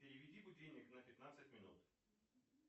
переведи будильник на пятнадцать минут